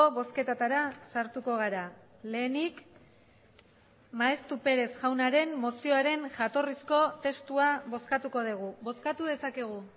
bozketetara sartuko gara lehenik maeztu perez jaunaren mozioaren jatorrizko testua bozkatuko dugu bozkatu dezakegu